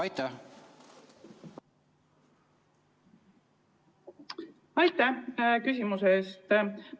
Aitäh küsimuse eest!